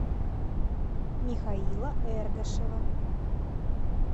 михаила эргашева